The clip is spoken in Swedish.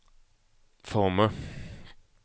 former